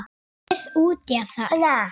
Við útjaðar